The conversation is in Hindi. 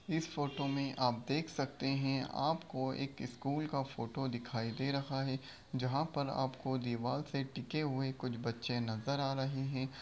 इस फोटो में आप देख सकते हैं आपको एक स्कूल का फोटो दिखाई दे रहा है जहाँ पर आपको दीवाल से टिके हुए कुछ बच्चे नजर आ रहे हैं।